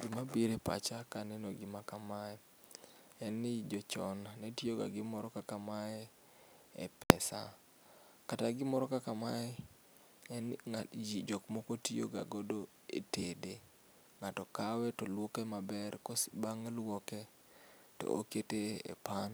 Gima biro e pacha kaeno gima kamae en ni jochon ne tiyo ga gi gimoro kaka mae e pesa kata gimoro kaka mae en ni jomoko tiyo ga godo e tede, ng'ato kawe to luoke maber to bang' luoke to okete e pan